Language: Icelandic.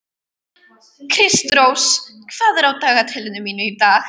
Kristrós, hvað er á dagatalinu mínu í dag?